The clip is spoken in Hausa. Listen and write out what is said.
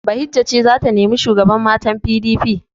Bahijja ce za ta nemi shugaban matan PDP.